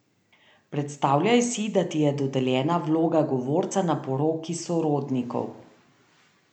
Predstavljaj si, da ti je dodeljena vloga govorca na poroki sorodnikov.